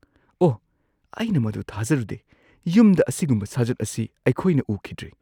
ꯑꯣꯍ, ꯑꯩꯅ ꯃꯗꯨ ꯊꯥꯖꯔꯨꯗꯦ꯫ ꯌꯨꯝꯗ ꯑꯁꯤꯒꯨꯝꯕ ꯁꯥꯖꯠ ꯑꯁꯤ ꯑꯩꯈꯣꯏꯅ ꯎꯈꯤꯗ꯭ꯔꯤ꯫